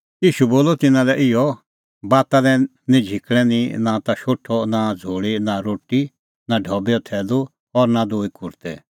ईशू बोलअ तिन्नां लै इहअ बाता लै निं किछ़ै निंईं नां ता शोठअ नां झ़ोल़ी नां रोटी नां ढबैओ थैलू और नां दूई कुर्तै